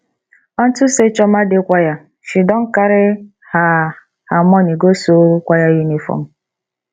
unto say chioma dey choir she don carry her her money go sew choir uniform